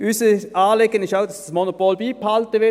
Unser Anliegen ist auch, dass das Monopol beibehalten wird.